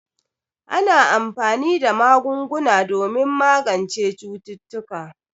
Ana anfani da magunguna domin magance cututtuka.